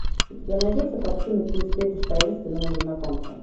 у тебя найдется картина ты встретишь таинственного незнакомца